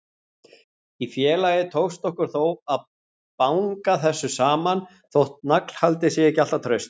Í félagi tókst okkur þó að banga þessu saman, þótt naglhaldið sé ekki alltaf traust.